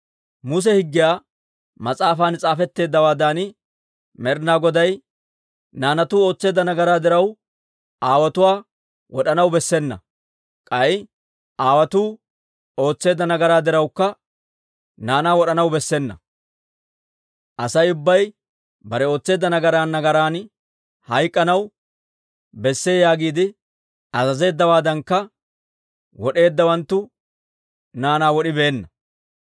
Muse higgiyaa mas'aafan s'aafetteeddawaadan, Med'ina Goday, «Naanatuu ootseedda nagaraa diraw, aawotuwaa wod'anaw bessena; k'ay aawotuu ootseedda nagaraa dirawukka, naanaa wod'anaw bessena. Asay ubbay bare ootseedda nagaran nagaran hayk'k'anaw besse yaagiide azazeeddawaadankka, wod'eeddawanttu naanaa wod'ibeenna.»